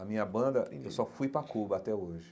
A minha banda, eu só fui para Cuba até hoje.